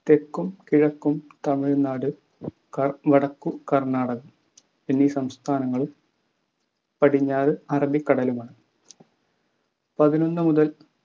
തെക്കും കിഴക്കും തമിഴ്‌നാട് ക വടക്കു കർണാടക എന്നീ സംസ്ഥാനങ്ങളും പടിഞ്ഞാറ് അറബിക്കടലുമാണ് പതിനൊന്നുമുതൽ